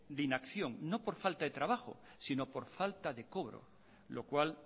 de inacción no por falta de trabajo sino por falta de cobro lo cual